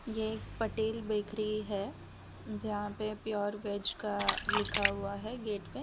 ये एक पटेल बेकरी है जहां पे प्योर वेज का लिखा हुआ है गेट पे --